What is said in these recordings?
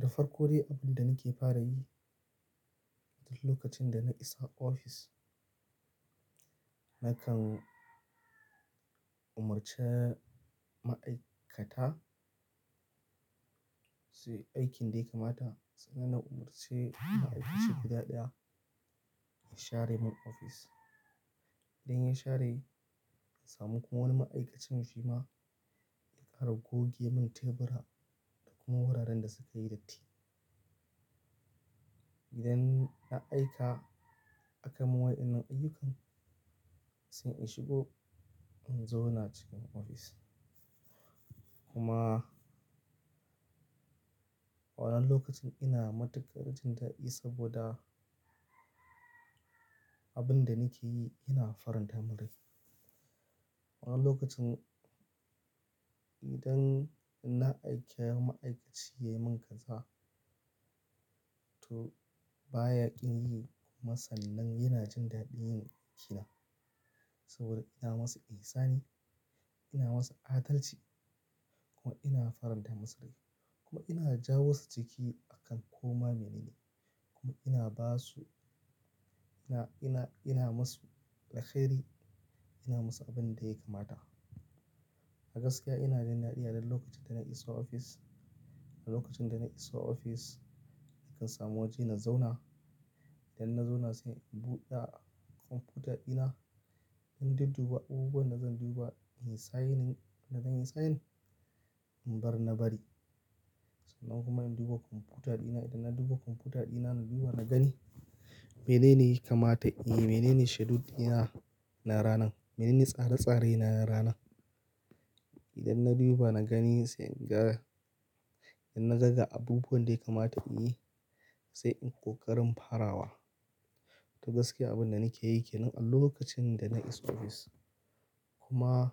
Da farko dai abin da nake fara yi duk lokacin da na isa ofis, nakan umarci ma'aikata su yi aikin dai kamata. Sannan na umarce ma'aikaci guda ɗaya ya share mun ofis. Idan ya share, na samu kuma wani ma'aikaci mafi ma ya ƙara goge mun tebura da kuma wuraren da suka yi datti. Idan na aika aka mun waɗannan ayyukan sai in shigo in zauna cikin ofis. Kuma wannan lokacin ina matuƙar jin daɗi saboda abin da nake yi yana faranta mun rai Wani lokacin idan na aika ma'aikaci ya yi min kaza to bayaƙin yi. Kuma sannan yana jin daɗin yin aikina saboda ina masa inisani, ina masa adalci kuma ina farin da maslahi. Kuma ina jawo su ciki akan koma menene kuma ina ba su, ina, ina, ina ma su alkheri, ina ma su abin da ya kamata. A gaskiya ina jin daɗi a duk lokacin da na isa ofis. A lokacin da na isa ofis nakan samu waje na zauna. Idan na zauna sai in buɗe kwamfuta dina. In dudduba abubuwan da zan duba in yi sayanin inda zan yi sayan in bar na bari. Sannan kuma in duba kwamfuta dina. Idan na duba kwamfuta dina na duba na gani mene ne yake kamata in yi, mene ne schedule dina na ranan, mene ne tsare-tsare na na ranan. Idan na duba na gani sai in ga. Idan naga ga abubuwan da ya kamata in yi sai in ƙoƙarin farawa. To gaskiya abin da nake yi ke nan a lokacin da na isa ofis. Kuma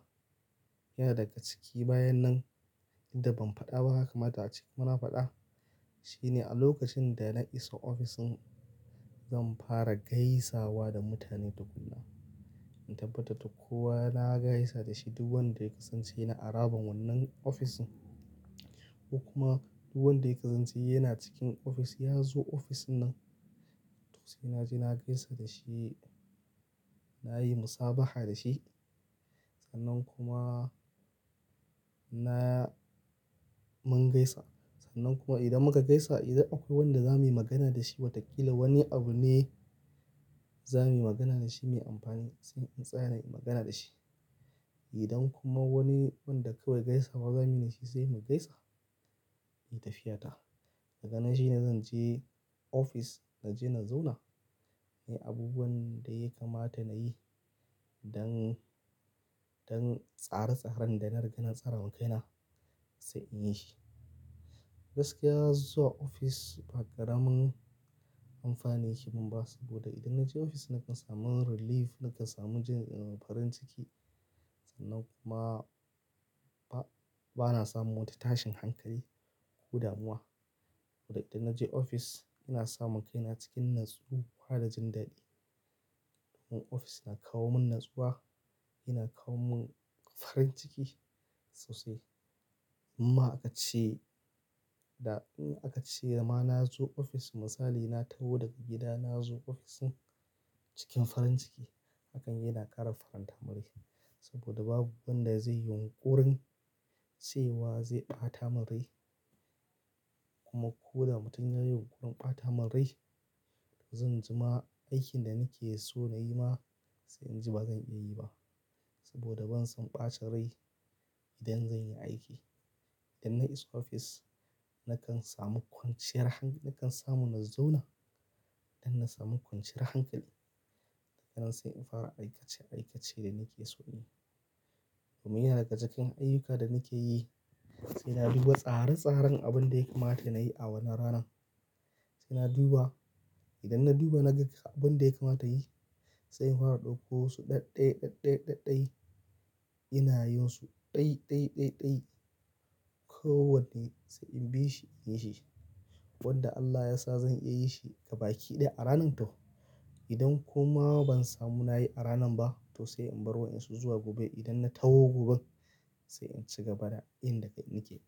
yana daga ciki bayan nan inda ban faɗa ba haka kamata a ciki muna faɗa shine a lokacin da na isa ofis zan fara gaisawa da mutane tukun nan. In tabbatar da kowa na gaisa da shi duk wanda ya kasance yana haraban wannan ofisin. Ko kuma duk wanda ya kasance yana cikin ofis ya zo ofis nan. To sai naje na gaisa da shi, na yi musabaha da shi sannan kuma na mun gaisa. Sannan kuma idan muka gaisa idan akwai wanda za mu yi magana da shi watakila wani abu ne za mu yi magana da shi mai amfani sai in tsaya na yi magana da shi. Idan kuma wani wanda kawai gaisawa za mu yi da shi sai mu gaisa, in yi tafiyata. Daga nan shi ne zan je ofis naje na zauna. Nayi abubuwan da yake kamata na yi dan, dan tsare-tsaren da na riga na tsara wa kaina sai in yi shi. Gaskiya zuwa ofis ba ƙaramin amfani yake mun ba saboda idan na je ofis nakan samu relief, nakan samu jin, eh, farin ciki. Sannan kuma ba, ba na samun wata tashin hankali ko damuwa. Saboda idan na je ofis ina samun kaina cikin natsuwa da jin daɗi. Ofis na kawo mun natsuwa, yana kawo mun farin ciki sosai. Amma aka ce da, in aka ce da ma na zo ofis misali na taho daga gida na zo ofis cikin farin ciki. Hakan yana ƙara faranta mun rai saboda babu wanda zai yi yunƙurin cewa zai ɓata mun rai. Kuma ko da mutum ya yi yunƙurin ɓata mun rao to zan jima aikin da nake so na yi ma sai in ji ba zan iya yi ba saboda ban son ɓacin rai idan zan yi aiki. Idan na isa ofis nakan samu kwanciyar hankali, nakan samu na zauna. Idan na samu kwanciyar hankali daganan sai in fara aikace aikace da nake so in yi. Domin yana daga cikin ayyuka da nake yi sai na duba tsare-tsaren abun da yake kamata na yi a wannan ranan. Sai na duba. Idan na duba na ga abun da yake kamata in yi sai in fara ɗauko su ɗai-ɗai, ɗai-ɗai, ɗai-ɗai. Ina yinsu dai-dai, dai-dai. Ko wanne sai in bi shi in yi shi. Wanda Allah ya sa zan iya yi shi gabaki ɗaya a ranan to. Idan kuma ban samu na yi a ranan ba to sai in bar wa'insu zuwa gobe idan na taho gobe sai in ci gaba da inda nake.